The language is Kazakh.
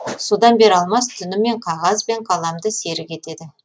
содан бері алмас түнімен қағаз бен қаламды серік етеді